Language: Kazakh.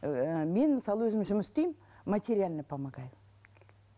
ііі мен мысалы өзім жұмыс істеймін материально помогаю